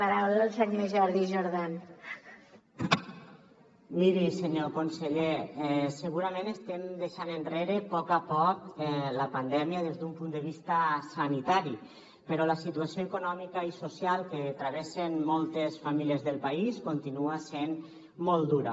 miri senyor conseller segurament estem deixant enrere poc a poc la pandèmia des d’un punt de vista sanitari però la situació econòmica i social que travessen moltes famílies del país continua sent molt dura